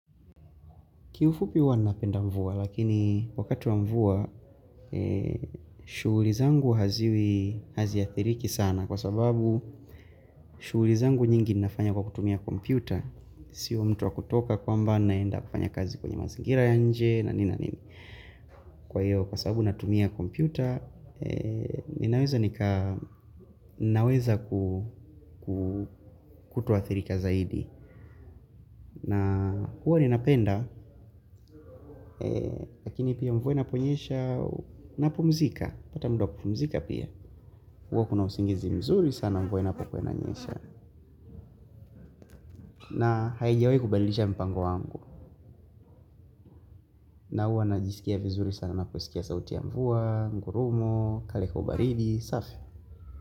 Kiufupi wanapenda mvua, lakini wakati wa mvua, shughuli zangu haziwi, haziathiriki sana kwa sababu shughuli zangu nyingi nafanya kwa kutumia kompyuta, sio mtu wa kutoka kwa mba naenda kufanya kazi kwenye mazingira ya nje, nanina nini. Kwa hiyo, kwa sababu natumia kompyuta, ninaweza nika, ninaweza kutoathirika zaidi. Na huwa ninapenda, lakini pia mvua inaponyesha na pumzika, pata muda wa kupumzika pia. Huwa kuna usingizi mzuri sana mvua inaponyesha na haijiawi kubadilisha mpango wangu. Na huwa najisikia vizuri sana ninaposikia sauti ya mvua, ngurumo, kale kaubaridi, safi.